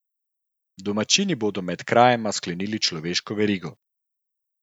Domačini bodo med krajema sklenili človeško verigo.